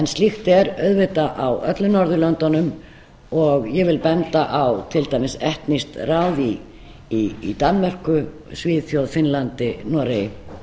slíkt er auðvitað á öllum norðurlöndunum og ég vil benda á til dæmis etnískt ráð í danmörku svíþjóð finnlandi og noregi